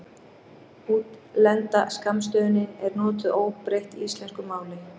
Útlenda skammstöfunin er notuð óbreytt í íslensku máli.